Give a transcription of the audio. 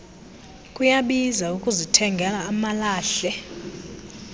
kuyabiza ukuzithenga amalahle